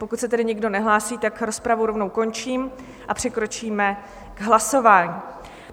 Pokud se tedy nikdo nehlásí, tak rozpravu rovnou končím a přikročíme k hlasování.